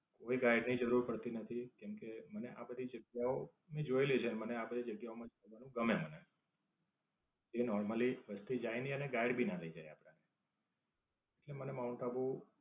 કોઈ guide ની જરૂર પડતી નથી કેમકે, મને આ બધી જગ્યાઓ મેં જોયેલી છે. મને આ બધી જગ્યાઓ માં ગમે મને. તે normally વસ્તી જાય નઈ અને guide ભી ના લઇ જાય આપણ ને. કેમકે મને માઉન્ટ આબુ